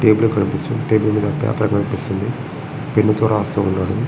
Table కనిపిస్తుంది. Table మీద paper కనిపిస్తుంది. పెన్ను తో రాస్తున్నాడు.